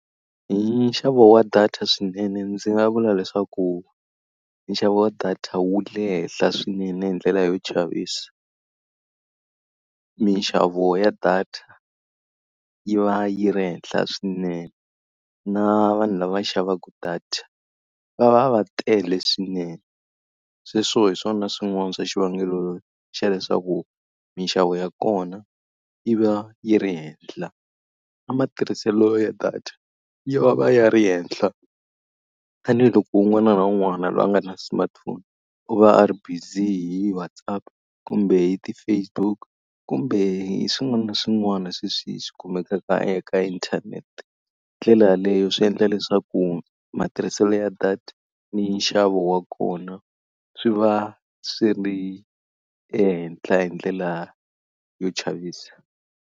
Hi nxavo wa data swinene ndzi nga vula leswaku nxavo wa data wu le henhla swinene hi ndlela yo chavisa. Minxavo ya data yi va yi ri henhla swinene, na vanhu lava xavaka data va va va tele swinene. Sweswo hi swona swin'wana swa xivangelo xa leswaku minxavo ya kona yi va yi ri henhla. Na matirhiselo ya data ya va ya ri henhla tanihiloko un'wana na un'wana loyi a nga na smartphone u va a ri busy hi WhatsApp, kumbe hi ti-Facebook kumbe hi swin'wana na swin'wana sweswi swi kumekaka eka inthanete. Ndlela yaleyo swi endla leswaku matirhiselo ya data ni nxavo wa kona, swi va swi ri ehenhla hi ndlela yo chavisa.